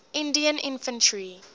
indian infantry